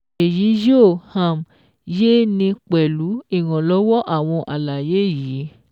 Èyí yóò um yé 'ni pẹ̀lú ìrànlọ́wọ́ àwọn àlàyé yìí